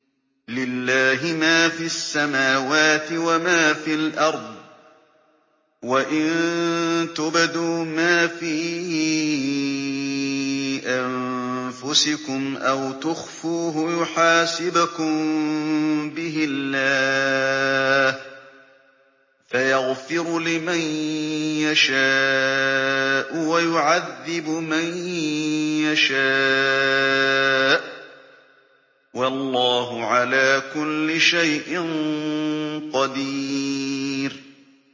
لِّلَّهِ مَا فِي السَّمَاوَاتِ وَمَا فِي الْأَرْضِ ۗ وَإِن تُبْدُوا مَا فِي أَنفُسِكُمْ أَوْ تُخْفُوهُ يُحَاسِبْكُم بِهِ اللَّهُ ۖ فَيَغْفِرُ لِمَن يَشَاءُ وَيُعَذِّبُ مَن يَشَاءُ ۗ وَاللَّهُ عَلَىٰ كُلِّ شَيْءٍ قَدِيرٌ